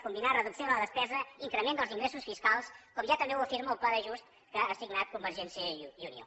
combinar reducció de la despesa increment dels ingressos fiscals com ja també afirma el pla d’ajust que ha signat convergència i unió